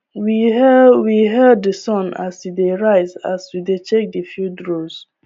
we hail we hail the sun as e dey rise as we dey check the field rows